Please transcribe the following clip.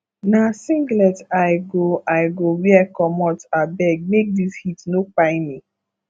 na singlet i go i go wear comot abeg make dis heat no kpai me